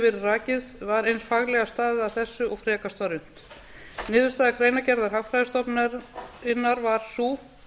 rakið var eins faglega staðið að þessu og frekast var unnt niðurstaða greinargerðar hagfræðistofnunarinnar var sú